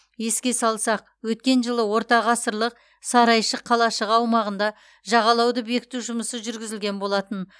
еске салсақ өткен жылы ортағасырлық сарайшық қалашығы аумағында жағалауды бекіту жұмысы жүргізілген болатын